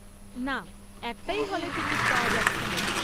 না, একটাই হলে টিকিট পাওয়া যাচ্ছিল।